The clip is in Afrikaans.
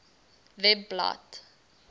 webblad